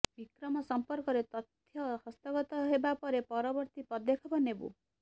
ବିକ୍ରମ ସଂପର୍କରେ ତଥ୍ୟ ହସ୍ତଗତ ହେବା ପରେ ପରବର୍ତ୍ତୀ ପଦକ୍ଷେପ ନେବୁ